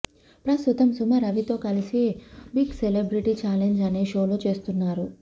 ప్రస్తుతం సుమ రవితో కలిసి బిగ్ సెలబ్రిటీ ఛాలెంజ్ అనే షో చేస్తున్నారు